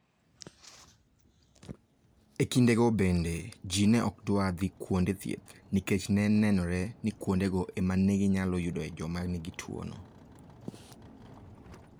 E kindego bende, ji ne ok dwar dhi kuonde thieth nikech ne nenore ni kuondego ema ne ginyalo yudoe joma nigi tuwono".